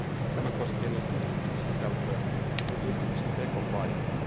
Tämä koskee niin tutkimuksen sisältöä kuin tutkimuksen tekopaikkaa.